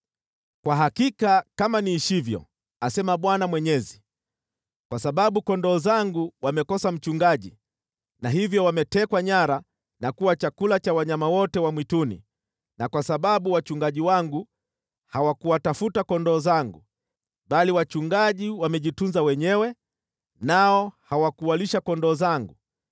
Kwa hakika kama niishivyo, asema Bwana Mwenyezi, kwa sababu kondoo zangu wamekosa mchungaji na hivyo wametekwa nyara na kuwa chakula cha wanyama wote wa mwituni na kwa sababu wachungaji wangu, hawakuwatafuta kondoo zangu, bali wachungaji wamejitunza wenyewe, nao hawakuwalisha kondoo zangu,